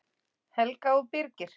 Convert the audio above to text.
Helga og Birgir.